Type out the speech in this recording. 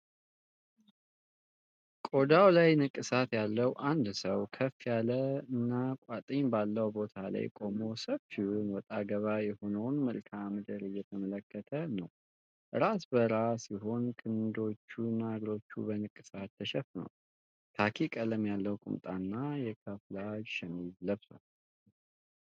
ቆዳው ላይ ንቅሳት ያለው አንድ ሰው ከፍ ያለና ቋጥኝ ባለው ቦታ ላይ ቆሞ ሰፊውን፣ ወጣ ገባ የሆነውን መልክዓ ምድር እየተመለከተ ነው። ራሰ በራ ሲሆን፣ ክንዶቹና እግሮቹ በንቅሳት ተሸፍነዋል። ካኪ ቀለም ያለው ቁምጣና የካሙፍላጅ ሸሚዝ ለብሷል።